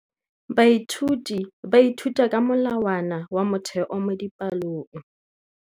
Baithuti ba ithuta ka molawana wa motheo mo dipalong.